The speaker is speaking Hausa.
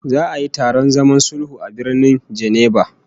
Za'a yi taron zaman sulhu a Birnin Geneva